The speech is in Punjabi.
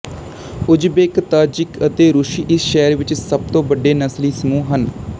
ਉਜ਼ਬੇਕ ਤਾਜਿਕ ਅਤੇ ਰੂਸੀ ਇਸ ਸ਼ਹਿਰ ਵਿੱਚ ਸਭ ਤੋਂ ਵੱਡੇ ਨਸਲੀ ਸਮੂਹ ਹਨ